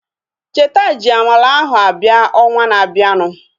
Cheta ji amala ahu abịa ọnwa na-abianu